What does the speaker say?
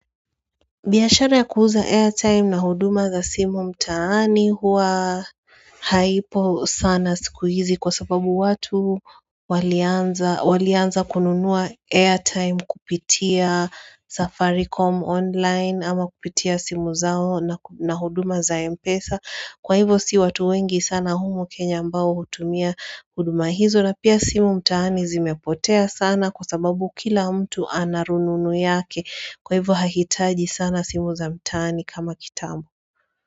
Biashara ya kuuza airtime na huduma za simu mtaani huwa haipo sana sikuizi kwa sababu watu walianza kununua airtime kupitia safaricom online ama kupitia simu zao na huduma za mpesa Kwa hivo si watu wengi sana humo kenya ambao hutumia kuduma hizo na pia simu mtaani zimepotea sana kwa sababu kila mtu anarununu yake Kwa hivo hakitaji sana simu za mtaani kama kitamu.